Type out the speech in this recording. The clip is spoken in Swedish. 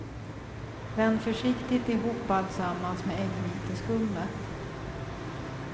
Vänd försiktigt ihop alltsammans med äggviteskummet.